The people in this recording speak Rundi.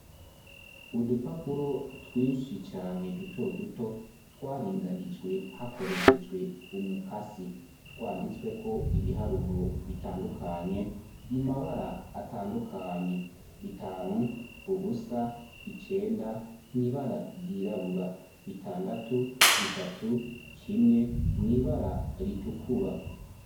Udupapuro twinshi cane duto duto twaringanijwe hakoreshejwe umukasi, twanditsweko ibiharuro bitandukanye mu mabara atandukanye, bitanu, ubusa, icenda mw'ibara ryirabura, bitandatu, bitatu, kimwe mw'ibara ritukura.